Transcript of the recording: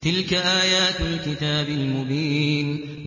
تِلْكَ آيَاتُ الْكِتَابِ الْمُبِينِ